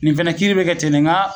Nin fɛnɛ kiiri be kɛ ten de nga